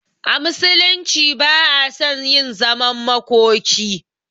A musulunci ba a son yin zaman makoki